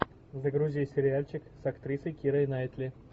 загрузи сериальчик с актрисой кирой найтли